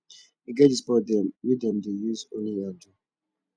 e get di sports dem wey dem dey use only hand do